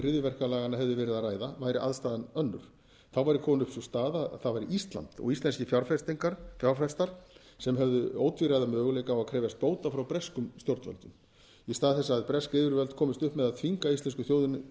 hryðjuverkalaganna hefði verið að ræða væri aðstaðan önnur þá væri komin upp sú staða að það væri ísland og íslenskir fjárfestar sem hefðu ótvíræða möguleika á að krefjast bóta frá breskum stjórnvöldum í stað þess að bresk yfirvöld komist upp með að þvinga íslensku þjóðina